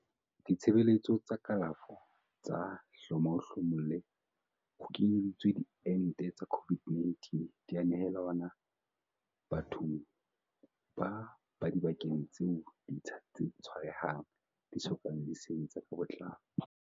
Ditshebeletso tsa kalafo tsa hloma-o-hlomolle, ho kenyeletswa diente tsa COVID-19, di a nehelanwa bathong ba dibakeng tseo ditsha tse tshwarehang di so kang di sebetsa ka botlalo.